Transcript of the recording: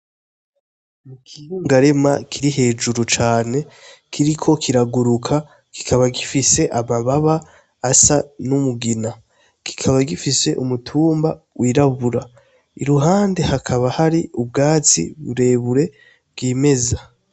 Igihungarema kiri hejuru cane kiriko kiraguruka, kikaba gifise amababa asa n'umugina, kikaba gifise umutumba w'irabura . I ruhande hakaba hari ubwatsi burebure bwimeza.